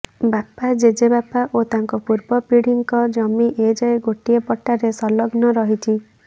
ବାପା ଜେଜେବାପା ଓ ତାଙ୍କ ପୂର୍ବ ପୀଢ଼ିଙ୍କ ଜମି ଏଯାଏଁ ଗୋଟିଏ ପଟ୍ଟାରେ ସଂଲଗ୍ନ ରହିଛି